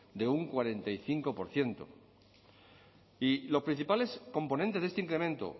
de un cuarenta y cinco por ciento y los principales componentes de este incremento